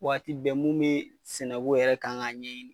Waati bɛɛ mun bee sɛnɛ ko yɛrɛ kan k'a ɲɛɲini